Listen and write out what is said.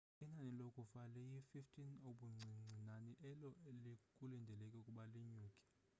inani lokufa liyi-15 ubuncinci nani elo kulindeleke ukuba linyuke